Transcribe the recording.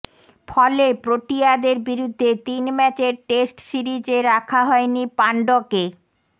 ফলে প্রোটিয়াদের বিরুদ্ধে তিন ম্যাচের টেস্ট সিরিজে রাখা হয়নি পাণ্ড্যকে